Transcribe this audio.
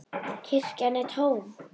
Kirkjan er tóm.